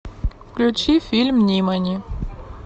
включи фильм нимани